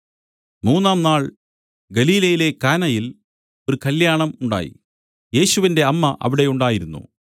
മൂന്നാം നാൾ ഗലീലയിലെ കാനയിൽ ഒരു കല്യാണം ഉണ്ടായി യേശുവിന്റെ അമ്മ അവിടെ ഉണ്ടായിരുന്നു